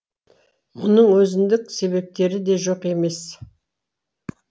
мұның өзіндік себептері де жоқ емес